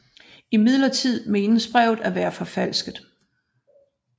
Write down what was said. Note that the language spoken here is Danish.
Imidlertid menes brevet at være forfalsket